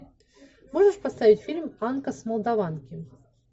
можешь поставить фильм анка с молдаванки